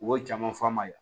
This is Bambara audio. U ye jama fa ma ye